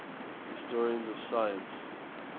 historians of science